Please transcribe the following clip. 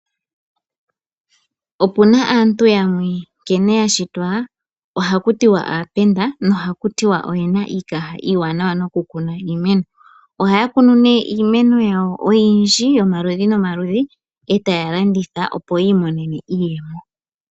Opu na aantu yamwe nkene ya shitwa ohaku tiwa aapenda nohaku tiwa oye na iikaha iiwanawa nokukuna iimeno ohaya kunu iimeno yawo oyindji yomaludhi nomaludhi e taya landitha opo yiimonenemo iiyemo.